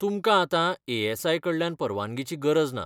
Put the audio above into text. तुमकां आतां A SI कडल्यान परवानगीची गरज ना.